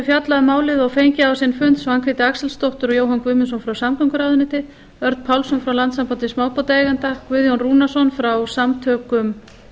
fjallað um málið og fengið á sinn fund svanhvíti axelsdóttur og jóhann guðmundsson frá samgönguráðuneyti örn pálsson frá landssambandi smábátaeigenda guðjón rúnarsson frá samtökum